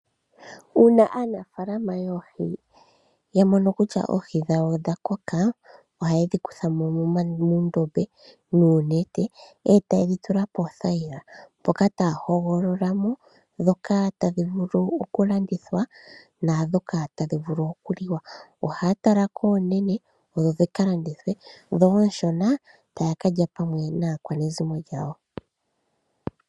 Uuna aanafaalama yoohi yamono kutya oohi dhawo odha koka, ohaye dhikuthamo moondombe noonete, etayi dhitula poothayila, moka taya hogololamo dhoka tadhi vulu okulandithwa, naadhoka tadhi vulu okuliwa. Ohaya tala dhoka oonene odho dhikalandithwe, naadhoka oonshona, taya kalya naanegumbo yawo.